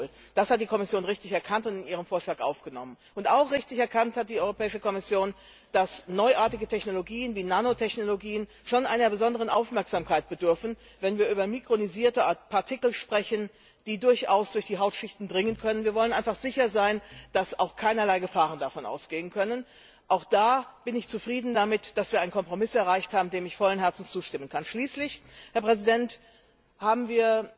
z. B. Vitamin A oder auch Alkohol. Das hat die Kommission richtig erkannt und in ihren Vorschlag aufgenommen. Und auch richtig erkannt hat die Kommission, dass neuartige Technologien wie Nanotechnologien schon einer besonderen Aufmerksamkeit bedürfen, wenn wir über mikronisierte Partikel sprechen, die durchaus durch die Hautschichten dringen können. Wir wollen einfach sicher sein, dass keinerlei Gefahren davon ausgehen können. Auch da bin ich zufrieden damit, dass wir einen Kompromiss erreicht haben, dem ich vollen Herzens zustimmen kann. Schließlich, Herr Präsident,